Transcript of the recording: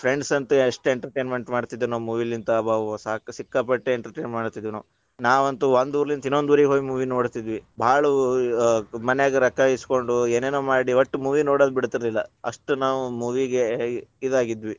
friends ಅಂತು ಎಷ್ಟ್ entertainment ಮಾಡತಿದ್ರ ನಾವ್ movie ಲಿಂತ‌ ಅಬಬ ಸಾಕ~ ಸಿಕ್ಕಾಪಟ್ಟೆ ‌entertainment ಮಾಡ್ತಿದ್ವಿ ನಾವ್, ನಾವಂತು ಒಂದ್ ಊರಲಿಂತ ಇನ್ನೊಂದ್ ಊರಿಗ್ ಹೋಗಿ movie ನೋಡತಿದ್ವಿ ಭಾಳ ಅ ಮನ್ಯಾಗ ರೊಕ್ಕಾ ಇಸ್ಕೊಂಡು ಏನೇನ ಮಾಡಿ ಒಟ್ಟ್ movie ನೋಡೋದ ಬಿಡ್ತೀದ್ದಿಲ್ಲಾ. ಅಷ್ಟ್ ನಾವು movie ಗೆ ಅ ಇದಾಗಿದ್ವಿ.